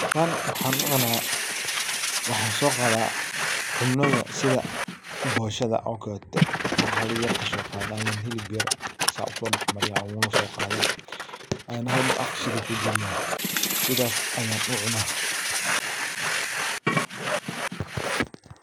Tan waxan ucuna, waxan soqada cunada sidha boshada o kalete, intan xalayar kasogado ayan xilib beer saa usodaxmariya, oguna sogada an xalmar afk sidhi kugaliya, sidhas ayan u cuna.